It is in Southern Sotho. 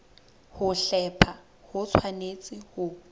ho hlepha ho tshwanetse ho